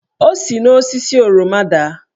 O si n'osisi oroma daa.